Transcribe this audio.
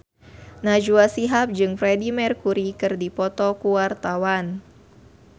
Najwa Shihab jeung Freedie Mercury keur dipoto ku wartawan